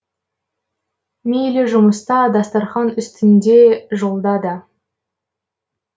мейлі жұмыста дастарқан үстінде жолда да